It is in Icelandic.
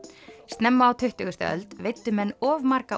snemma á tuttugustu öld veiddu menn of marga